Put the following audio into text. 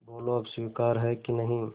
बोलो अब स्वीकार है कि नहीं